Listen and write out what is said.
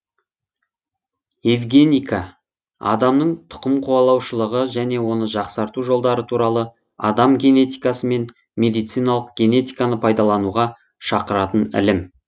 евгеника адамның түқымқуалаушылығы және оны жақсарту жолдары туралы адам генетикасы мен медициналық генетиканы пайдалануға шақыратын ілім